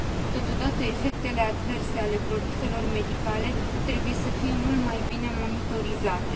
Totodată, efectele adverse ale produselor medicale trebuie să fie mult mai bine monitorizate.